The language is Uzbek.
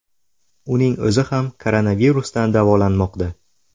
Uning o‘zi ham koronavirusdan davolanmoqda .